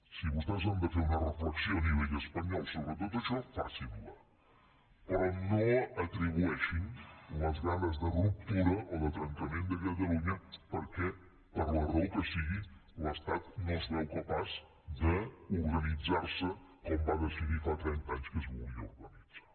si vostès han de fer una reflexió a nivell espanyol sobre tot això facin la però no atribueixin les ganes de ruptura o de trencament a catalunya perquè per la raó que sigui l’estat no es veu capaç d’organitzar se com va decidir fa trenta anys que es volia organitzar